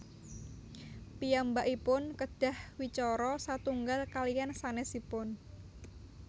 Piyambakipun kedah wicara satunggal kaliyan sanésipun